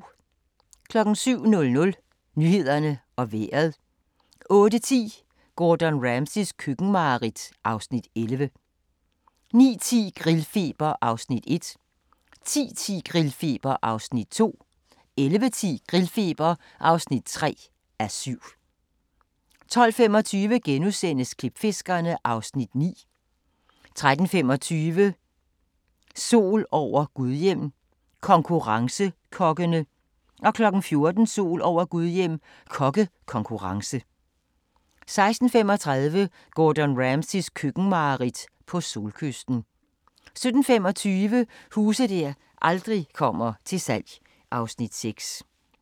07:00: Nyhederne og Vejret 08:10: Gordon Ramsays køkkenmareridt (Afs. 11) 09:10: Grillfeber (1:7) 10:10: Grillfeber (2:7) 11:10: Grillfeber (3:7) 12:25: Klipfiskerne (Afs. 9)* 13:25: Sol over Gudhjem – konkurrencekokkene 14:00: Sol over Gudhjem – kokkekonkurrence 16:35: Gordon Ramsays køkkenmareridt - på solkysten 17:25: Huse der aldrig kommer til salg (Afs. 6)